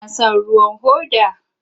Kina son ruwan hoda?